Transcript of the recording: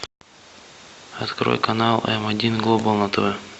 открой канал м один глобал на тв